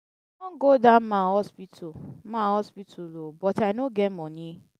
i bin wan go that man hospital man hospital oo but i no get money.